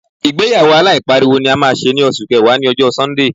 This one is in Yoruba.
Ìgbéyàwó aláìpariwo ni a máa ṣe ní oṣù kẹwàá, ní alẹ ọjọ́ Sọ́ńdè.